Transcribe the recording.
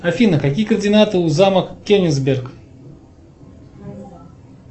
афина какие координаты у замок кенигсберг